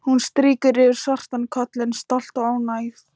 Hún strýkur yfir svartan kollinn, stolt og ánægð.